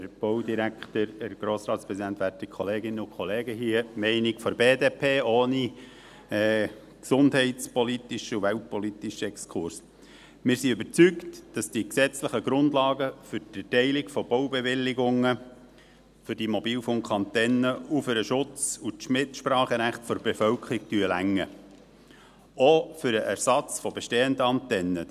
Hier die Meinung der BDP ohne gesundheitspolitischen und weltpolitischen Exkurs: Wir sind überzeugt, dass die gesetzlichen Grundlagen für die Erteilung von Baubewilligungen für diese Mobilfunkantennen auch für den Schutz und das Mitspracherecht der Bevölkerung reichen – auch für den Ersatz von bestehenden Antennen.